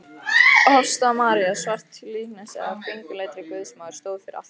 Hofsstaða-María, svart líkneski af kringluleitri Guðsmóður, stóð fyrir altari.